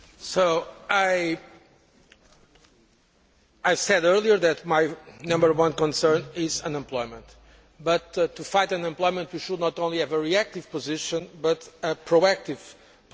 I have said earlier that my number one concern is unemployment, but to fight unemployment we should not only have a reactive position but a proactive position.